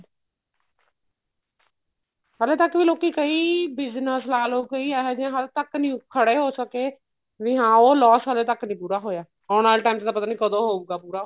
ਹਾਲੇ ਤੱਕ ਵੀ ਲੋਕੀ ਕਈ business ਲਾਲੋ ਕਈ ਇਹ ਜਿਹੇ ਹਲੇ ਤੱਕ ਨੀ ਖੜੇ ਹੋ ਸਕੇ ਵੀ ਹਾਂ ਉਹ loss ਹਲੇ ਤੱਕ ਨੀ ਪੂਰਾ ਹੋਇਆ ਆਉਣ ਵਾਲੇ time ਚ ਤਾਂ ਪਤਾ ਨੀ ਕਦੋ ਹੋਊਗਾ ਪੂਰਾ